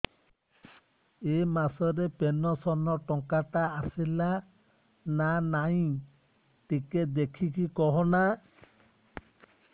ଏ ମାସ ରେ ପେନସନ ଟଙ୍କା ଟା ଆସଲା ନା ନାଇଁ ଟିକେ ଦେଖିକି କହନା